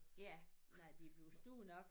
Ja når de er blevet store nok